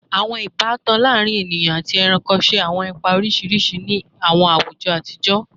Awọn ibatan laarin eniyan ati ẹranko ṣe awọn ipa oriṣiriṣi ni awọn awujọ atijọ